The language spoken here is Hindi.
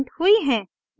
प्रिंट हुई हैं